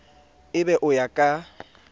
e be o ya ka